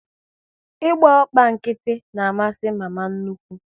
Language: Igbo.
Ị gba ọkpọ nkịtị na amasị mama nnukwu